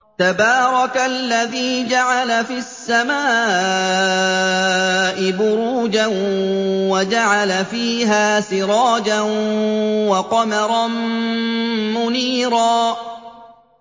تَبَارَكَ الَّذِي جَعَلَ فِي السَّمَاءِ بُرُوجًا وَجَعَلَ فِيهَا سِرَاجًا وَقَمَرًا مُّنِيرًا